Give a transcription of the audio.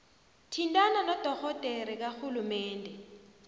thintana nodorhodere karhulumende